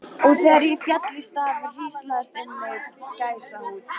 Og þegar ég féll í stafi hríslaðist um mig gæsahúð.